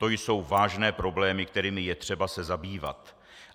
To jsou vážné problémy, kterými je třeba se zabývat.